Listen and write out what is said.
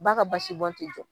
Ba ka basi bɔn tɛ jɔ.